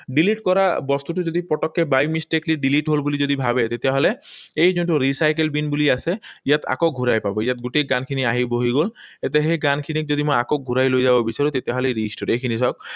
Delete কৰা বস্তুটো যদি পটককৈ by mistakenly delete হল বুলি যদি ভাৱে, তেতিয়াহলে এই যোনটো recycle bin বুলি আছে, ইয়াত আকৌ ঘূৰাই পাব। ইয়াত গোটেই গানখিনি আহি বহি গল। এতিয়া সেই গানখিনিক যদি মই আকৌ ঘূৰাই লৈ যাব বিচাৰো, তেতিয়াহলে restore, এইখিনি চাওক